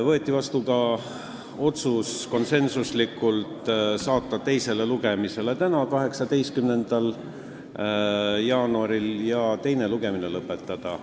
Võeti vastu konsensuslik otsus saata eelnõu teisele lugemisele tänaseks, 18. jaanuariks ja teine lugemine lõpetada.